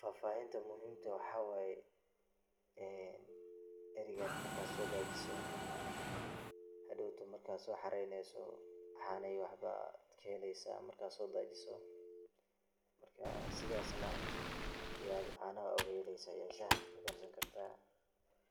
Faahfaahinta muhhimka ah waxa waye, erigan marka sodajiso, marka soxareneyso caano iyo waxbad kaheleysa marka sodajiso marka sidas aya caanaha ogaheleysa shaah kukarsani karta,